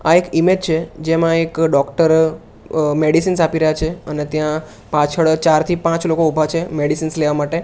આ એક ઇમેજ છે જેમાં એક ડોક્ટર અ મેડિસિન્સ આપી રહ્યા છે અને ત્યાં પાછળ ચાર થી પાંચ લોકો ઉભા છે મેડિસિન્સ લેવા માટે.